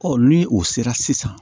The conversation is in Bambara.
ni o sera sisan